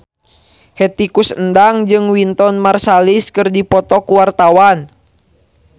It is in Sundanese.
Hetty Koes Endang jeung Wynton Marsalis keur dipoto ku wartawan